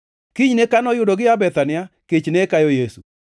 Kinyne kane oyudo gia Bethania, kech ne kayo Yesu.